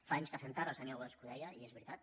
fa anys que fem tard el senyor bosch ho deia i és veri·tat